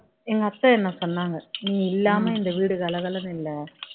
எங்க அத்தை என்ன சொன்னாங்க நீ இல்லாம இந்த வீடு கலகலன்னு இல்ல